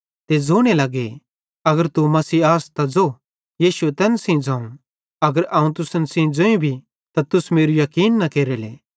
ते ज़ोने लगे अगर तू मसीह आस त ज़ो यीशुए तैन सेइं ज़ोवं अगर अवं तुसन ज़ोईं भी त तुस मेरू याकीन न केरेले